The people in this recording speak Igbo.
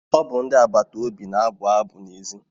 Ọ bụ ndị agbata obi na-abụ abụ n'èzí.